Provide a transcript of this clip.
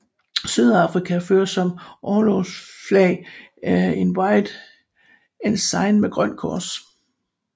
Sydafrika fører som orlogsflag en White Ensign med grønt kors